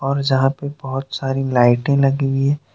और जहां पर बहोत सारी लाइटें लगी हुई--